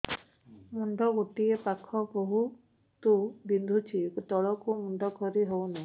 ମୁଣ୍ଡ ଗୋଟିଏ ପାଖ ବହୁତୁ ବିନ୍ଧୁଛି ତଳକୁ ମୁଣ୍ଡ କରି ହଉନି